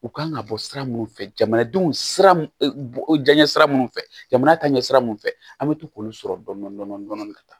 U kan ka bɔ sira minnu fɛ jamanadenw sira minnu diɲɛ sira minnu fɛ jamana taɲɛ sira minnu fɛ an bɛ to k'olu sɔrɔ dɔndɔni dɔndɔni ka taa